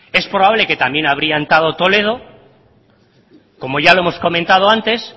es probable que también habría entrado toledo como ya lo hemos comentado antes